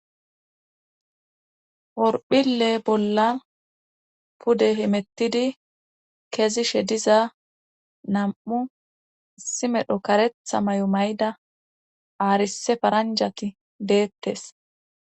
worphile bollan pude himettidi kezi she diza nam7u issimedho karetha may7o may7da aarise faranjati deettes